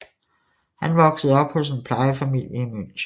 Han voksede op hos en plejefamilie i München